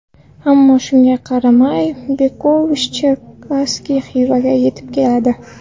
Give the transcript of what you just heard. Ammo shunga qaramay Bekovich-Cherkasskiy Xivaga yetib keladi.